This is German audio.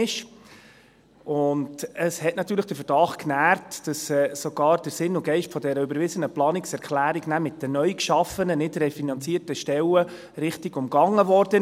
Dies hat natürlich den Verdacht genährt, dass sogar der Sinn und Geist dieser überwiesenen Planungserklärung mit den neu geschaffenen, nicht refinanzierten Stellen richtiggehend umgangen wurde.